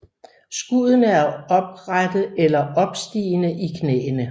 Skuddene er oprette eller opstigende i knæene